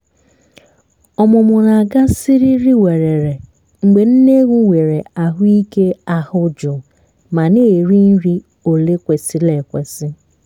ọmụmụ na-aga siriri werere mgbé nne ewu nwéré ahụike ahụ jụụ ma na-eri nri òle kwesiri ekwesi